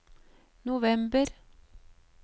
november